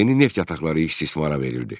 Yeni neft yataqları istismara verildi.